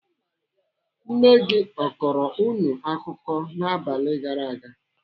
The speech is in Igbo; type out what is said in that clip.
Nne gị ọ kọrọ unu akụkọ n'abalị gara aga?